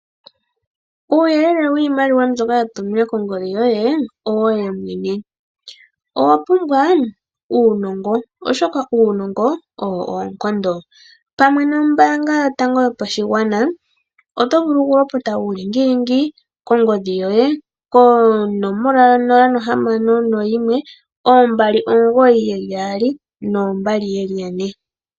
Uuyelele wiimaliwa mbyoka ya tuminwa kongodhi yoye owoye mwene . Owapumbwa uunongo oshoka uunongo owo oonkondo . Pamwe nombaanga yotango yopashigwana otovulu okulopota uulingilingi kongodhi yoye kongodhi yonomola 0612992222.